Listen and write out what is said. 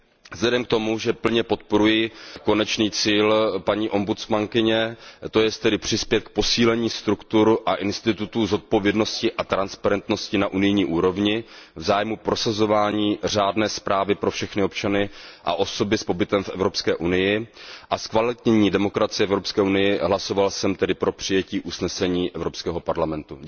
Vzhledem k tomu, že plně podporuji konečný cíl paní obudsmanky, to jest tedy přispět k posílení struktur a institutů zodpovědnosti a transparentnosti na unijní úrovni v zájmu prosazování řádné správy pro všechny občany a osoby s pobytem v Evropské unii a ke zkvalitnění demokracie v Evropské unii, hlasoval jsem pro přijetí usnesení Evropského parlamentu.